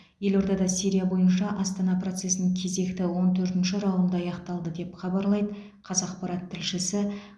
елордада сирия бойынша астана процесінің кезекті он төртінші раунды аяқталды деп хабарлайды қазақпарат тілшісі